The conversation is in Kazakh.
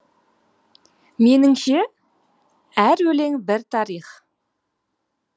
меніңше әр өлең бір тарих